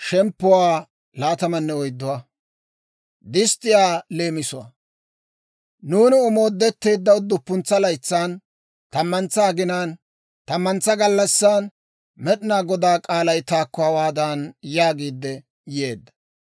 Nuuni omoodetteedda udduppuntsa laytsan, tammantsa aginaan, tammantsa gallassan, Med'inaa Godaa k'aalay taakko hawaadan yaagiidde yeedda;